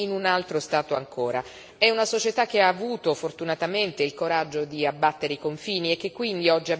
È una società che ha avuto, fortunatamente, il coraggio di abbattere i confini e che quindi oggi ha bisogno di nuove norme.